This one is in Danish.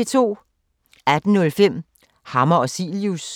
18:05: Hammer og Cilius